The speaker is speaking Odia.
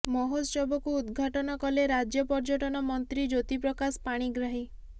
ମହୋତ୍ସବକୁ ଉଦ୍ଘାଟନ କଲେ ରାଜ୍ୟ ପର୍ଯ୍ୟଟନ ମନ୍ତ୍ରୀ ଜ୍ୟୋତି ପ୍ରକାଶ ପାଣିଗ୍ରାହୀ